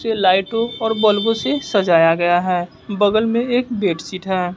ये लाइटों और बल्बो से सजाया गया है बगल में एक बेड शीट है।